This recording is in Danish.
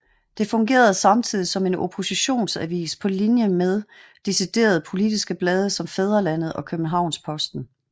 Det fungerede samtidigt som en oppositionsavis på linje med deciderede politiske blade som Fædrelandet og Kjøbenhavnsposten